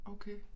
Okay